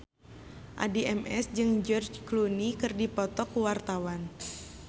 Addie MS jeung George Clooney keur dipoto ku wartawan